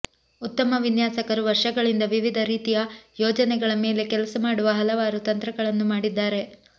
ಉತ್ತಮ ವಿನ್ಯಾಸಕರು ವರ್ಷಗಳಿಂದ ವಿವಿಧ ರೀತಿಯ ಯೋಜನೆಗಳ ಮೇಲೆ ಕೆಲಸ ಮಾಡುವ ಹಲವಾರು ತಂತ್ರಗಳನ್ನು ಮಾಡಿದ್ದಾರೆ